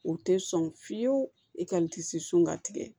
U tɛ sɔn fiyewu e ka n tisi sɔn ka tigɛ